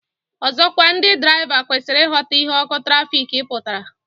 Ọzọkwa ndị draịva kwesịrị ịghọta ihe ọkụ trafik pụtara